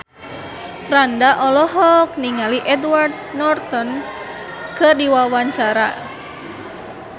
Franda olohok ningali Edward Norton keur diwawancara